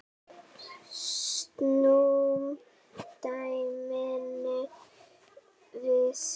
Snúum dæminu við.